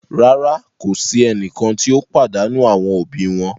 Rara, ko si ẹnikan ti o padanu awọn obi wọn